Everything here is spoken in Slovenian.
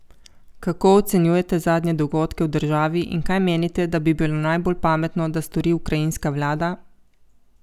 Kako ocenjujete zadnje dogodke v državi in kaj menite, da bi bilo najbolj pametno, da stori ukrajinska vlada?